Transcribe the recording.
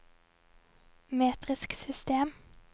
metrisk system